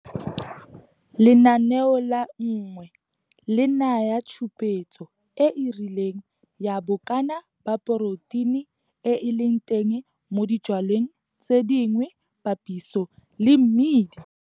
Lenaneo la 1 le naya tshupetso e e rileng ya bokana ba poroteine e e leng teng mo dijwaleng tse dingwe papiso le mmidi.